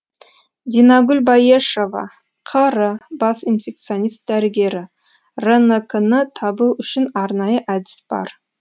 динагүл баешова қр бас инфекционист дәрігері рнк ны табу үшін арнайы әдіс бар